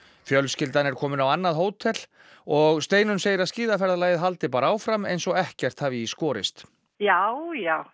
fjölskyldan er komin á annað hótel og Steinunn segir að haldi bara áfram eins og ekkert hafi í skorist já já